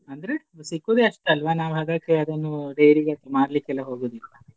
ಅಂದ್ರೆ ಸಿಕ್ಕುದೇ ಅಷ್ಟಲ್ವ ನಾವು ಹಾಗಾಗಿ ಅದನ್ನು dairy ಗೆ ಮಾರ್ಲಿಕ್ಕೆ ಎಲ್ಲ ಹೋಗುದಿಲ್ಲ.